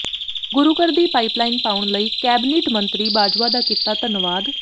ਗੁਰੂ ਘਰ ਦੀ pipeline ਪਾਉਣ ਲਈ ਕੈਬਨਿਟ ਮੰਤਰੀ ਬਾਜਵਾ ਦਾ ਕੀਤਾ ਧੰਨਵਾਦ